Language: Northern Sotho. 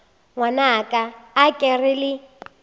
ngwanaka a ke re le